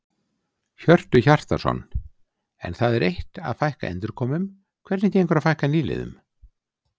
Hjörtu Hjartarson: En það er eitt að fækka endurkomum, hvernig gengur að fækka nýliðum?